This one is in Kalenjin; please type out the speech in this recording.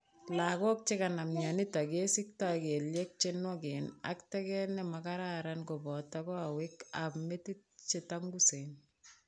Lakok che kanam myanitok kesiktai kelyek che nywaken ak teget ne ma kararan kopoto kawek ap metit che tangusen